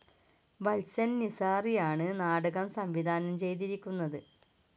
വത്സൻ നിസാറിയാണ് നാടകം സംവിധാനം ചെയ്തിരിക്കുന്നത്.